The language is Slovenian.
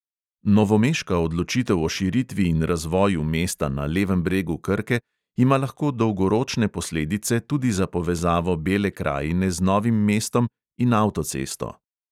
Novomeška odločitev o širitvi in razvoju mesta na levem bregu krke ima lahko dolgoročne posledice tudi za povezavo bele krajine z novim mestom in avtocesto.